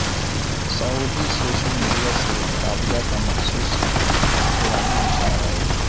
سعودی social media سے Rabaa کا مخصوص اخوانی نشان غائب